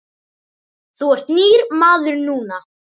Þú ert nýr maður núna.